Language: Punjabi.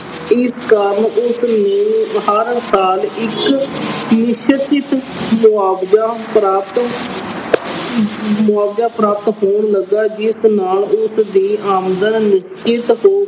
ਇਸ ਕਾਰਨ ਉਸ ਨੂੰ ਹਰ ਸਾਲ ਇੱਕ ਨਿਸ਼ਚਿਤ ਮੁਆਵਜਾ ਪ੍ਰਾਪਤ ਅਹ ਮੁਆਵਜਾ ਪ੍ਰਾਪਤ ਹੋਣ ਲੱਗਾ ਜਿਸ ਨਾਲ ਉਸ ਦੀ ਆਮਦਨ ਵਿੱਚ ਇਸ ਤੋਂ